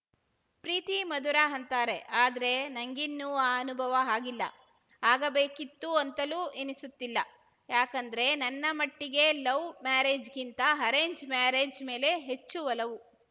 ಪ್ರೀತಿ ಮಧುರ ಅಂತಾರೆ ಆದ್ರೆ ನಂಗಿನ್ನು ಆ ಅನುಭವ ಆಗಿಲ್ಲ ಆಗಬೇಕಿತ್ತು ಅಂತಲೂ ಎನಿಸುತ್ತಿಲ್ಲ ಯಾಕಂದ್ರೆ ನನ್ನ ಮಟ್ಟಿಗೆ ಲವ್‌ ಮ್ಯಾರೇಜ್‌ಕ್ಕಿಂತ ಅರೇಂಜ್‌ ಮ್ಯಾರೇಜ್‌ ಮೇಲೆ ಹೆಚ್ಚು ಒಲವು